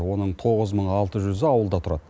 оның тоғыз мың алты жүзі ауылда тұрады